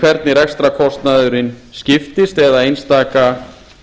hvernig rekstrarkostnaðurinn skiptist eða einstaka